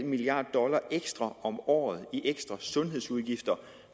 milliard dollar ekstra om året i ekstra sundhedsudgifter